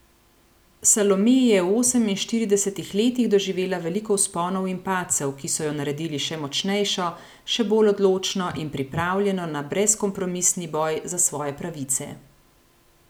Salome je v oseminštiridesetih letih doživela veliko vzponov in padcev, ki so jo naredili še močnejšo, še bolj odločno in pripravljeno na brezkompromisni boj za svoje pravice.